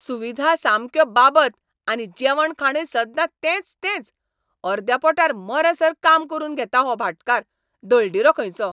सुविधा सामक्यो बाबत आनी जेवण खाणय सद्दां तेंच तेंच. अर्द्या पोटार मरसर काम करून घेता हो भाटकार, दळदिरो खंयचो!